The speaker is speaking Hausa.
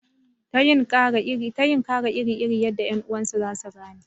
Ta yin kara iri iri yadda ƴan uwansu za su gane